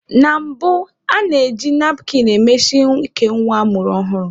Na mbụ, a na-eji napkin emesi ike nwa a mụrụ ọhụrụ.